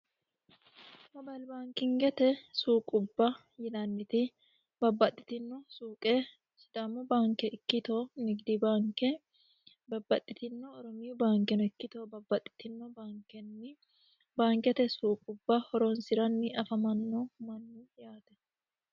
mobalbaankingete suuqubba yinanniti babbaxxitino suuqe sidammo baanke ikkitoo nigidi baanke babbaxxitinno oromiyu baankeno ikkito babbaxxitino bankenni baankete suuqubba horoonsi'ranni afamanno mannaati yaate